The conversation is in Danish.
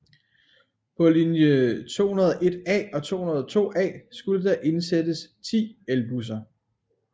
På linje 201A og 202A skulle der indsættes 10 elbusser